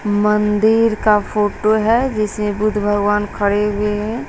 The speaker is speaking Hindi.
मंदिर का फोटो है जिसे बुद्ध भगवान खड़े हुए हैं।